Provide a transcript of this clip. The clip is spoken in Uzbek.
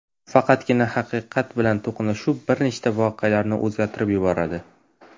Faqatgina haqiqat bilan to‘qnashuv bir nechta voqealarni o‘zgartirib yuboradi.